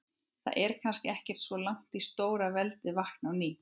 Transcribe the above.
Það er kannski ekkert svo langt í að stórveldið vakni á ný.